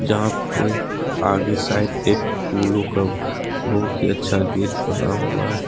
जहां पे आगे साइड एक फूलों का बहुत ही अच्छा गेट बना हुआ है।